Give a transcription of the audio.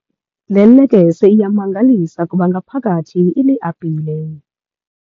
Le lekese iyamangalisa kuba ngaphakathi iliapile.